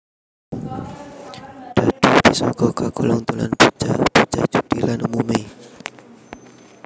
Dhadhu bisa uga kagolong dolanan bocah bocah judi lan umumé